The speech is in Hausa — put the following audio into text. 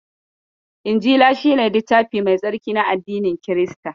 Injila shi ne littafi mai tsarki na addinin Kirista.